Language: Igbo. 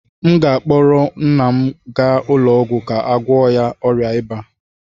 m ga-akpọga nna m ụlọ ọgwụ ka a gwọọ ya ọrịa ịba